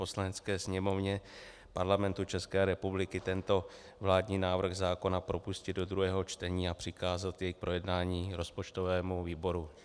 Poslanecké sněmovně Parlamentu České republiky tento vládní návrh zákona propustit do druhého čtení a přikázat jej k projednání rozpočtovému výboru.